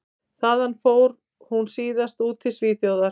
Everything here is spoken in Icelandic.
Þaðan fór hún síðan út til Svíþjóðar.